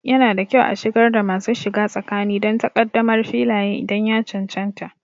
Yana da kyau a shigar da masu shiga tsakani don takaddamar Filaye idan ya cancanta.